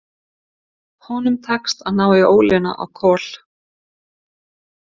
Honum tekst að ná í ólina á Kol.